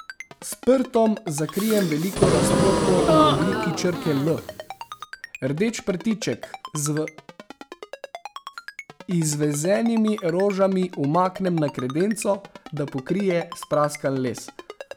S prtom zakrijem veliko razpoko v obliki črke L, rdeč prtiček z izvezenimi rožami umaknem na kredenco, da pokrije spraskan les.